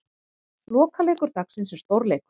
Lokaleikur dagsins er stórleikur.